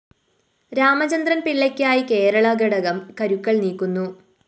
രാമചന്ദ്രന്‍ പിള്ളയ്ക്കായി കേരള ഘടകം കരുക്കള്‍ നീക്കുന്നു